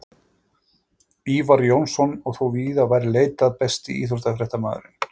Ívar Jónsson og þó víðar væri leitað Besti íþróttafréttamaðurinn?